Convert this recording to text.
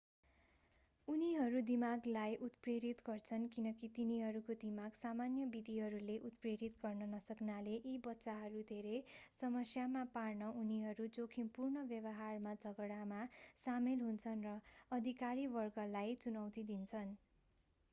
उनीहरू दिमागलाई उत्प्रेरित गर्छन् किनकि तिनीहरूको दिमाग सामान्य विधिहरूले उत्प्रेरित गर्न नसक्नाले यी बच्चाहरू धेरै समस्यामा पार्न उनीहरू जोखिमपूर्ण व्यवहारमा झगडामा सामेल हुन्छन् र अधिकारिक वर्गलाई चुनौती दिन्छन्